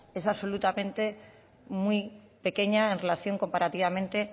es absolutamente muy pequeña en relación comparativamente